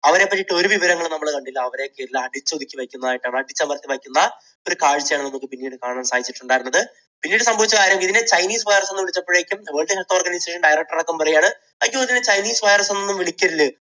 അവരെപ്പറ്റി ഒരു വിവരങ്ങളും നമ്മൾ കണ്ടില്ല അവരെയൊക്കെ അടിച്ചൊതുക്കി വയ്ക്കുന്നതായിട്ടാണ്, അടിച്ചമർത്തി വയ്ക്കുന്ന ഒരു കാഴ്ചയാണ് നമുക്ക് പിന്നീട് കാണാൻ സാധിച്ചിട്ടുണ്ടായിരുന്നത്. പിന്നീട് സംഭവിച്ച കാര്യം ഇതിനെ chinese virus എന്ന് വിളിച്ചപ്പോഴേക്കും വേൾഡ് ഹെൽത്ത് ഓർഗനൈസേഷൻ director അടക്കം പറയുകയാണ് അയ്യോ ഇത് chinese virus എന്നൊന്നും വിളിക്കരുത്.